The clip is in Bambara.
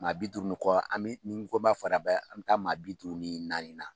Maa bi duuru ni kɔ , an bi i ni n ko b'a fɔra bɛɛ, an bɛ taa maa bi duuru ni naani na.